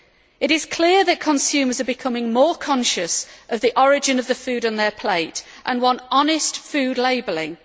It is clear that consumers are becoming more conscious of the origin of the food on their plate and want honest food labelling.